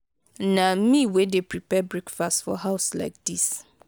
na me wey dey prepare breakfast for house like dis.